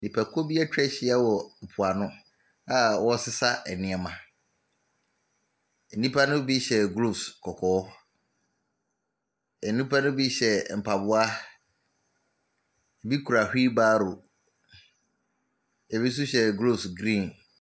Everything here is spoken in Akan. Nnipakuo bi atwa ahyia wɔ mpoano a wɔresesa nneɛma. Nnipa no bi hyɛ gloves kɔkɔɔ. Nnipa no bi hyɛ mpaboa. Ebi kura wheel barrow. Ebi nso hyɛ groves green.